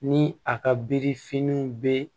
Ni a ka birifiniw be